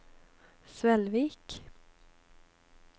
Svelvik